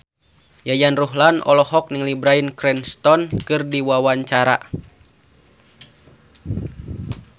Yayan Ruhlan olohok ningali Bryan Cranston keur diwawancara